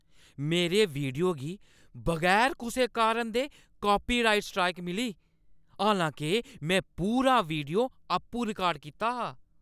मेरे वीडियो गी बगैर कुसै कारण दे कॉपीराइट स्ट्राइक मिली। हालांके में पूरा वीडियो आपूं रिकार्ड कीता हा।